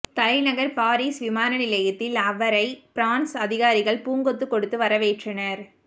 தலைநகர் பாரிஸ் விமான நிலையத்தில் அவரை பிரான்ஸ் அதிகாரிகள் பூங்கொத்து கொடுத்து வரவேற்றனர்